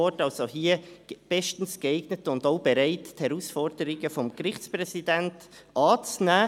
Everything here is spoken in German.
Sie sind also bestens geeignet und auch bereit, die Herausforderungen des Gerichtspräsidenten anzunehmen.